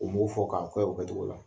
U b'o fɔ k'a kɛ u kɛcogo la.